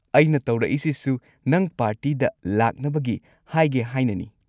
ꯑꯩꯅ ꯇꯧꯔꯛꯏꯁꯤꯁꯨ ꯅꯪ ꯄꯥꯔꯇꯤꯗ ꯂꯥꯛꯅꯕꯒꯤ ꯍꯥꯏꯒꯦ ꯍꯥꯏꯅꯅꯤ꯫